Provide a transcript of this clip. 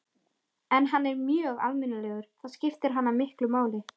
En hann er mjög almennilegur, það skiptir hana miklu máli.